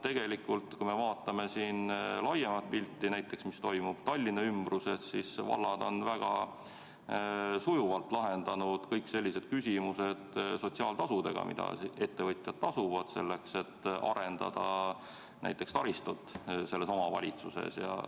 Tegelikult kui me vaatame laiemat pilti, näiteks mis toimub Tallinna ümbruses, siis vallad on väga sujuvalt lahendanud kõik sellised küsimused sotsiaaltasudega, mida ettevõtjad maksavad selleks, et saaks arendada taristut konkreetses omavalitsuses.